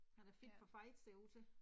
Han er fit for fight ser det ud til